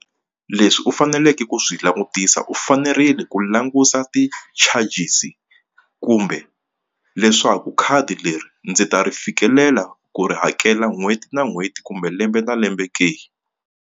Leswi u faneleke ku swi langutisa u fanerile ku languta ti-charges kumbe leswaku khadi leri ndzi ta ri fikelela ku ri hakela n'hweti na n'hweti kumbe lembe na lembe ke.